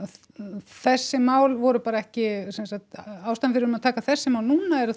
þessi mál voru bara ekki sem sagt ástæðan fyrir að taka þessi mál núna er að